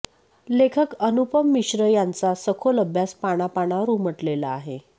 लेखक अनुपम मिश्र यांचा सखोल अभ्यास पानापानावर उमटलेला आहे